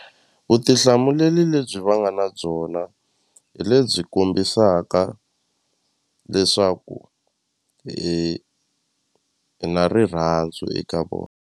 Vutihlamuleli lebyi va nga na byona hi lebyi kombisaka leswaku hi na rirhandzu eka vona.